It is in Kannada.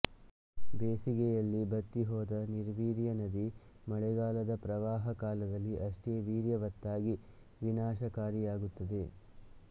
ಬೇಸಗೆಯಲ್ಲಿ ಬತ್ತಿಹೋದ ನಿರ್ವೀರ್ಯನದಿ ಮಳೆಗಾಲದ ಪ್ರವಾಹಕಾಲದಲ್ಲಿ ಅಷ್ಟೇ ವೀರ್ಯವತ್ತಾಗಿ ವಿನಾಶಕಾರಿಯಾಗುತ್ತದೆ